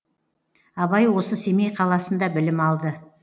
абай осы семей қаласында білім алды